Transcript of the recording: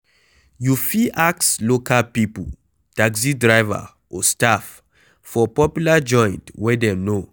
You fit ask local pipo, taxi driver or staff for popular joint wey dem know